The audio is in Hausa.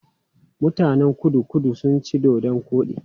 Mutanen Kudu-Kudu suna cin dodon koɗi.